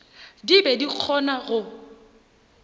di be di kgona go